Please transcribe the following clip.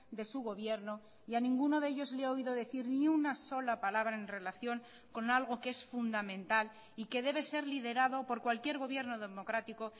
de su gobierno y a ninguno de ellos le he oído decir ni una sola palabra en relación con algo que es fundamental y que debe ser liderado por cualquier gobierno democrático